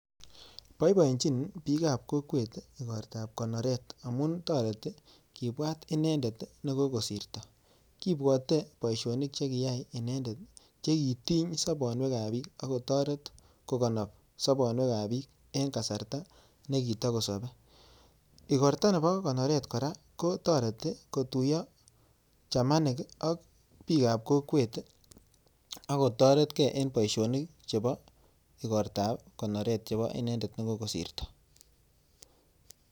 Poipoichiin piik ap kokweet ikortat ap konoreetamun tariti kipwaat inendeet amun kitareet piik eng poishoniik chechang amun kiimuch inendeet nekikosirto koaii poishonik ak kosiri kichanaeee chuu kokachii poishonik atkai kotugul